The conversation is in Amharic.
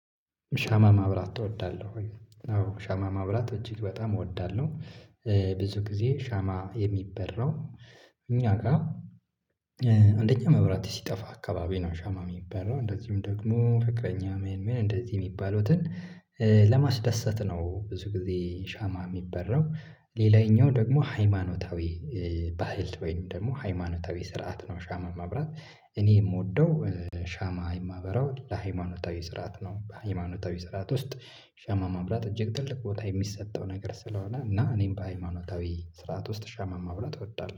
ሻማ ማብራት ትወዳለሁ ወይ? አዎ ሻማ ማብራት እጅግ በጣም እወዳለሁ። ብዙ ጊዜ ሻማ የሚበራው እኛ ጋር። አንደኛ መብራት ሲጠፋ አካባቢ ነው ሻማ የሚበራው እንደዚሁም ደግሞ ፍቅረኛ ምን ምን እንደዚህ የሚባሉትን ለማስደሰት ነው። ብዙ ጊዜ ሻማ የሚበራው ሌላኛው ደግሞ ሃይማኖታዊ ባህል ወይም ደግሞ ሃይማኖታዊ ስርዓት ነው። ሻማ ማብራት እኔ የምወደው ሻማ የማበራው ለሃይማኖታዊ ስርዓት ነው። በሃይማኖታዊ ስርዓት ውስጥ ሻማ ማብራት እጅግ ትልቅ ቦታ የሚሰጠው ነገር ስለሆነ እና እኔም በሃይማኖታዊ ስርዓት ውስጥ ሻማ ማብራት እወዳለሁ